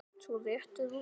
Þú réttir úr þér.